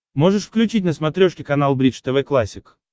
можешь включить на смотрешке канал бридж тв классик